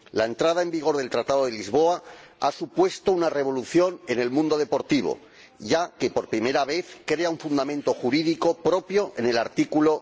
La entrada en vigor del Tratado de Lisboa ha supuesto una revolución en el mundo deportivo, ya que por primera vez crea un fundamento jurídico propio, en el artículo